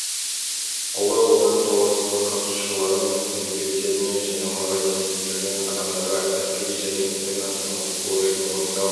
ұлы отан соғысының қатысушылары мен мүгедектеріне және оларға теңестірілген адамдарға әскери және интернационалдық борышын орындау